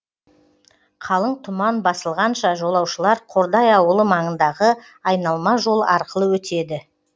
қалың тұман басылғанша жолаушылар қордай ауылы маңындағы айналма жол арқылы өтеді